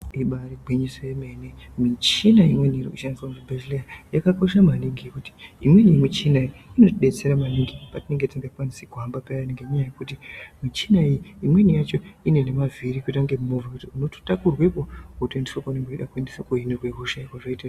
Igwinyiso yemene michina imweni iri kushandiswa kuzvibhedhlera yakakosha maningi ngokuti imweni michina inotibetsera maningi patinenge tisingakwanisi payani ngenyaya yekuti michina iyii imweni yacho inenge ine mavhiri yotoita kunge movha zvekuti mototakurwepo motoendeswa kwamunenge meyida kuendeswa kohinirwe hosha.